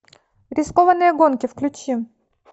рискованные гонки включи